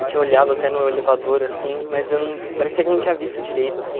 Eu tinha olhado até no elevador, assim, mas eu não parecia que eu não tinha visto direito, assim.